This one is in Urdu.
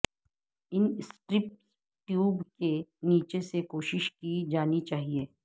ان سٹرپس ٹیوب کے نیچے سے کوشش کی جانی چاہیے